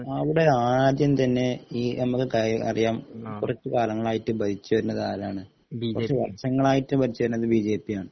അവിടെ ആദ്യം തന്നെ ഈ നമ്മൾ കയ അറിയാം കുറച്ച് കാലങ്ങളായിട്ട് ഭരിച്ചു വരുന്നത് ആരാണ് കുറച്ച് വര്ഷങ്ങളായിട്ട് ഭരിച്ചു വരുന്നത് ബിജെപി യാണ്